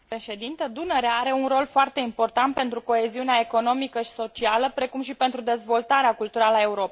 Dunărea are un rol foarte important pentru coeziunea economică și socială, precum și pentru dezvoltarea culturală a Europei.